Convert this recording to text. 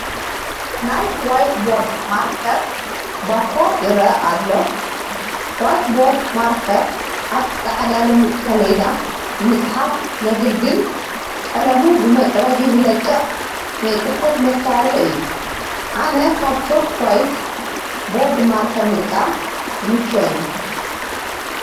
ናይ ዋይት ቦርድ ማርከር ባኮ ይርአ ኣሎ፡፡ ዋይት ቦርድ ማርከር ኣብ ፃዕዳ ልሙፅ ሰሌዳ ንምፅሓፍ ዘግልግል ቀለሙ ብመፅረጊ ዝለቅቅ ናይ ፅሕፈት መሳርሒ እዮ፡፡ ኣነ ካብ ቾክ ዋይት ቦርድ ማርከር ምጥቃም ይምቸወኒ፡፡